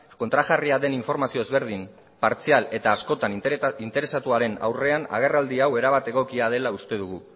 kontrajarria den informazio ezberdin partzial eta askotan interesatuaren aurrean agerraldi hau erabat egokia dela uste dugu